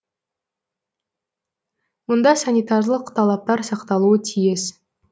мұнда санитарлық талаптар сақталуы тиіс